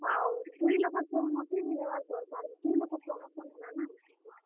ଆଉ ଦୁହି ଲୋକର୍ ସହମତି ହେବା ଦରକାର, ଦୁହି ଲୋକର promotion ହେଲାନା।